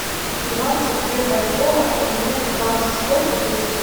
двадцать две бальбоа поменять на баксы сколько будет